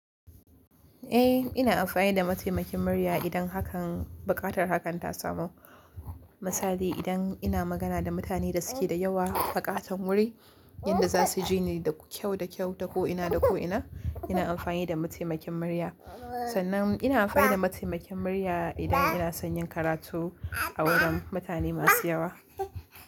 Eh, ina amfani da mataimakin murya idan hakan buƙatar hakan ta samu. Misali idan ina magana da mutane da suke da yawa aƙatan wuri, yanda za su ji ni da kyau da kyau ta ko ina da ko ina, ina amfani da mataimakin murya. Sannan ina amfani da mataimakin murya idan ina son yin karatu a wurin mutane masu yawa.